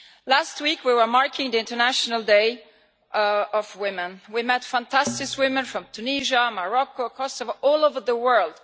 Last week we were marking the International Day of Women. We met fantastic women from Tunisia, Morocco, Kosovo, all over the world.